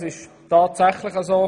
Es ist tatsächlich so: